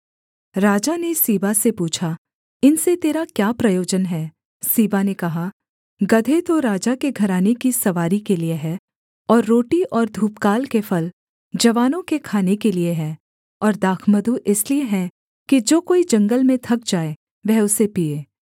राजा ने सीबा से पूछा इनसे तेरा क्या प्रयोजन है सीबा ने कहा गदहे तो राजा के घराने की सवारी के लिये हैं और रोटी और धूपकाल के फल जवानों के खाने के लिये हैं और दाखमधु इसलिए है कि जो कोई जंगल में थक जाए वह उसे पीए